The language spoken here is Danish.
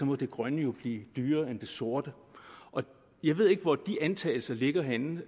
må det grønne jo blive dyrere end det sorte jeg ved ikke hvor de antagelser ligger henne